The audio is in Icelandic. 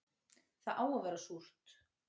Það á að vera súrt